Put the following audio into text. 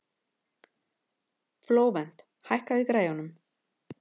Flóvent, hækkaðu í græjunum.